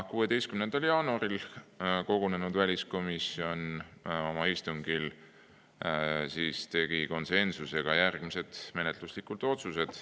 16. jaanuaril kogunenud väliskomisjon tegi oma istungil konsensusega järgmised menetluslikud otsused.